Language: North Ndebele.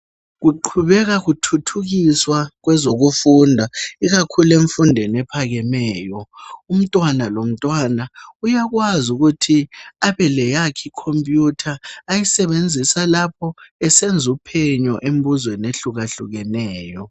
Kuqhubeka kuthuthikiswa kwezokufunda ikakhulu emfundweni ephakameyo umntwana lomntwana uyakwazi ukuthi abeleyakhe icomputer ayisebenzisa lapha esenza uphenyo embuzeni ehlukahlukeneyo.